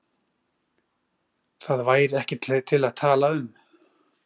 Það er nú hægt að fá þær fyrir tuttugu kall eða minna.